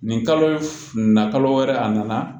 Nin kalo na kalo wɛrɛ a nana